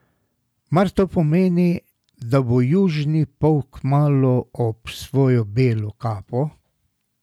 Mar to pomeni, da bo južni pol kmalu ob svojo belo kapo?